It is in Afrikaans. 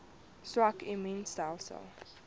swak immuun stelsels